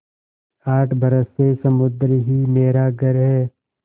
आठ बरस से समुद्र ही मेरा घर है